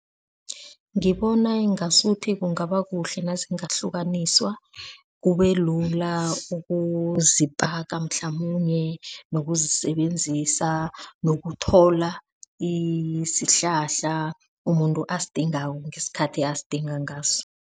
Ngibona ingasuthi kungaba kuhle nazingahlukaniswa, kubelula ukuzipaka mhlamunye nokuzisebenzisa. Nokuthola isihlahla umuntu asidingako ngesikhathi asidinga ngaso.